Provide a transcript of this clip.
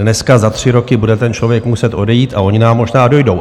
Dneska za tři roky bude ten člověk muset odejít a oni nám možná dojdou.